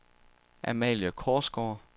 Amalie Korsgaard